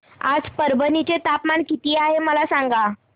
आज परभणी चे तापमान किती आहे मला सांगा